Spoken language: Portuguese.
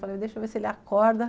Falei, deixa eu ver se ele acorda.